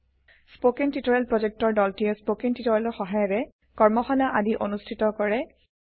spoken tutorial প্ৰকল্পৰ দলটিয়ে spoken টিওটৰিয়েলৰ সহায়েৰে কৰ্মশালা আদি অনুষ্ঠিত কৰে